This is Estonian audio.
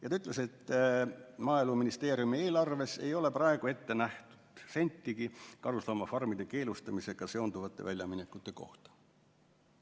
Ja ta ütles veel, et Maaeluministeeriumi eelarves ei ole praegu ette nähtud sentigi karusloomafarmide keelustamisega seonduvate väljaminekute tarvis.